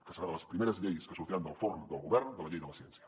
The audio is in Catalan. que serà de les primeres lleis que sortiran del forn del govern de la llei de la ciència